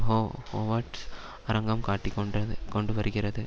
ஹோ ஹோவர்ட் அரங்கம் காட்டிக்கொண்டது கொண்டுவருகிறது